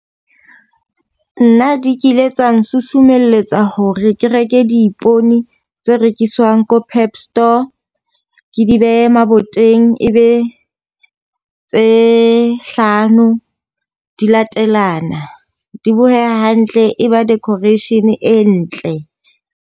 Nna di kile tsa nsusumeletsa hore ke reke di ipone tse rekiswang ko Pep store ke di behe maboteng. E be tse hlano di latelana. Di boheha hantle e ba decoration e ntle.